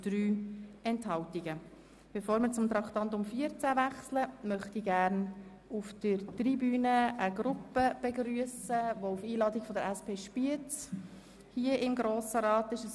Bevor wir zu Traktandum 14 weitergehen, möchte ich gerne eine Gruppe auf der Tribüne begrüssen, die auf Einladung der SP Spiez hier im Grossen Rat ist.